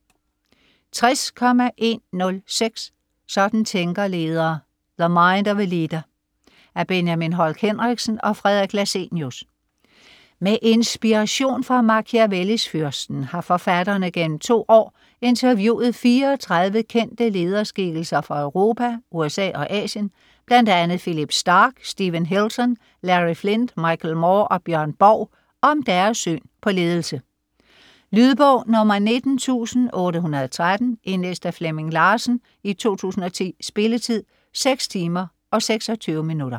60.106 Sådan tænker ledere: the mind of a leader Af Benjamin Holk Henriksen og Fredrik Lassenius. Med inspiration fra Machiavellis Fyrsten har forfatterne gennem 2 år interviewet 34 kendte lederskikkelser fra Europa, USA og Asien, bl.a. Phillipe Starck, Steven Hilton, Larry Flynt, Michael Moore og Björn Borg om deres syn på ledelse. Lydbog 19813 Indlæst af Flemming Larsen, 2010. Spilletid: 6 timer, 26 minutter.